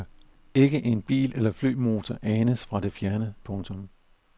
Ikke en bil eller flymotor anes fra det fjerne. punktum